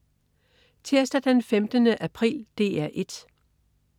Tirsdag den 15. april - DR 1: